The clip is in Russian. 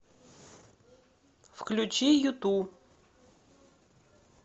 включи юту